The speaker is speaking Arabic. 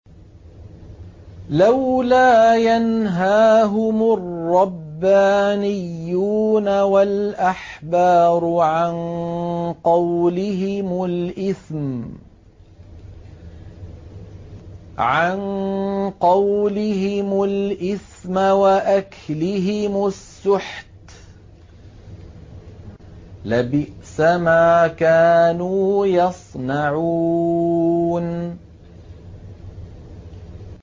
لَوْلَا يَنْهَاهُمُ الرَّبَّانِيُّونَ وَالْأَحْبَارُ عَن قَوْلِهِمُ الْإِثْمَ وَأَكْلِهِمُ السُّحْتَ ۚ لَبِئْسَ مَا كَانُوا يَصْنَعُونَ